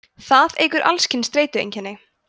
það eykur alls kyns streitueinkenni